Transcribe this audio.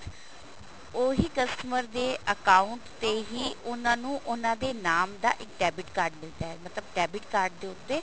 ਉਹੀ customer ਦੇ account ਤੇ ਹੀ ਉਹਨਾ ਨੂੰ ਉਹਨਾ ਦੇ ਨਾਮ ਦਾ ਇੱਕ debit card ਮਿਲਦਾ ਹੈ ਮਤਲਬ debit card ਦੇ ਉੱਤੇ